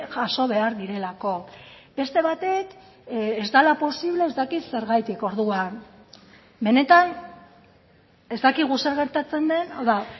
jaso behar direlako beste batek ez dela posible ez dakit zergatik orduan benetan ez dakigu zer gertatzen den hau da